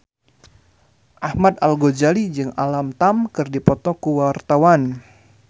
Ahmad Al-Ghazali jeung Alam Tam keur dipoto ku wartawan